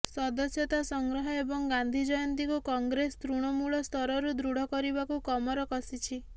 ସଦସ୍ୟତା ସଂଗ୍ରହ ଏବଂ ଗାନ୍ଧୀଜୟନ୍ତୀ କୁ କଂଗ୍ରେସ ତୃଣମୃଳ ସ୍ତରରୁ ଦୃଢ଼ କରିବାକୁ କମର କଷିଛି